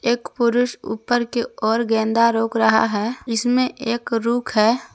एक पुरुष ऊपर के ओर गेंदा रोक रहा है इसमें एक रूख है।